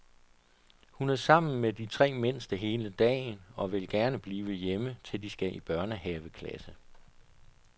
Hun er sammen med de tre mindste hele dagen, og vil gerne blive hjemme, til de skal i børnehaveklasse.